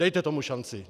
Dejte tomu šanci.